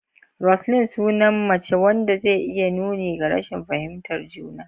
Roseline: Sunan mace wanda zai iya yin nuni ga rashin fahimtar juna.